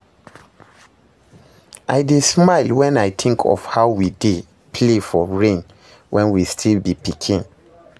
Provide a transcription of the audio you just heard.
I dey smile when I think of how we dey play for rain when we still be pikin